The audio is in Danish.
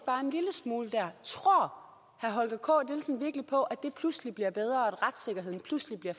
smule der tror herre holger k nielsen virkelig på at det pludselig bliver bedre og at retssikkerheden pludselig bliver